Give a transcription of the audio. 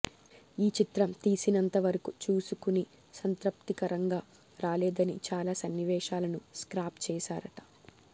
ఈ చిత్రం తీసినంత వరకు చూసుకుని సంతృప్తికరంగా రాలేదని చాలా సన్నివేశాలని స్క్రాప్ చేసేసారట